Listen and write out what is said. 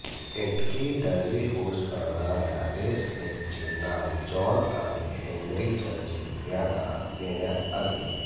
Kentucky Derby host करणार्या रेसट्रॅकचे नाव जॉन आणि हेन्री चर्चिल यांना देण्यात आले